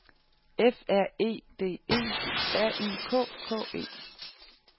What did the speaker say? F R E D E R I K K E